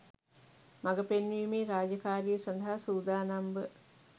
මග පෙන්වීමේ රාජකාරිය සඳහා සූදානම්ව